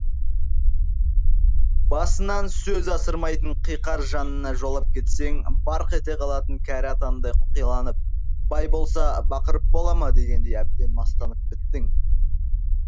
басынан сөз асырмайтын қиқар жанына жолап кетсең барқ ете қалатын кәрі атандай қоқиланып бай болса бақырып бола ма дегендей әбден мастанып біттің